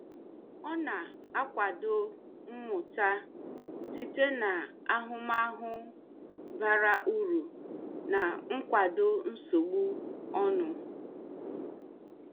Ọ na-akwado mmụta site na ahụmahụ bara uru na nkwado nsogbu ọnụ.